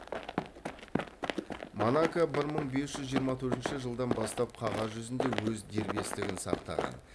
монако бір мың бес жүз жиырма төртінші жылдан бастап қағаз жүзінде өз дербестігін сақтаған